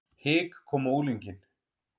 Hik kom á unglinginn.